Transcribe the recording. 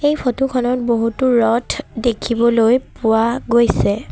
এই ফটো খনত বহুতো ৰ'ড দেখিবলৈ পোৱা গৈছে।